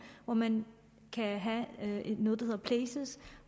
hvor man kan have noget der hedder places